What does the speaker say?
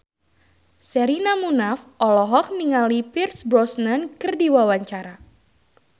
Sherina Munaf olohok ningali Pierce Brosnan keur diwawancara